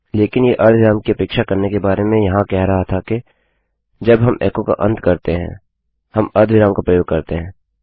लेकिन यह अर्धविराम कि अपेक्षा करने के बारे में यहाँ कह रहा था के जब हम एको का अंत करते है हम अर्धविराम का प्रयोग करते हैं